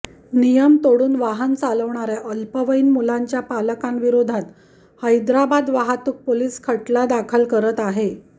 नियम तोडून वाहन चालवणाऱ्या अल्पवयीन मुलांच्या पालकांविरोधात हैदराबाद वाहतूक पोलिस खटला दाखल करत आहे